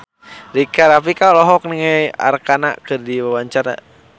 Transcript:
Rika Rafika olohok ningali Arkarna keur diwawancara